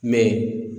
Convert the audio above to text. Mɛ